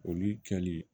Olu kɛli